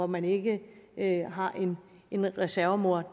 man ikke har en en reservemor